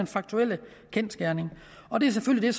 faktuelle kendsgerning og det er selvfølgelig